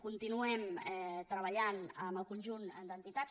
continuem treballant amb el conjunt d’entitats